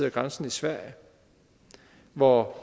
af grænsen i sverige hvor